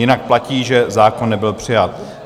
Jinak platí, že zákon nebyl přijat.